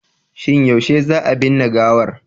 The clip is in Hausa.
Shin yaushe za a binne gawar?